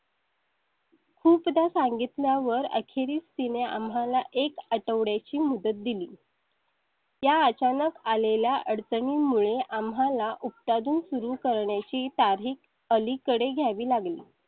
खूप दा सांगितल्या वर अखेरीस तिने आम्हाला एक आठवड्या ची मुदत दिली त्या अचानक आलेल्या अडचणी मुळे आम्हाला उत्पादन सुरू करण्याची तारीख अलीकडे घ्यावी लागेली